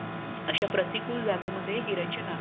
अश्या प्रतिकूल जागी मध्ये हे रचना